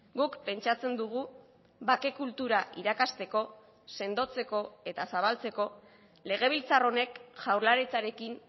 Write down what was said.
guk pentsatzen dugu bake kultura irakasteko sendotzeko eta zabaltzeko legebiltzar honek jaurlaritzarekin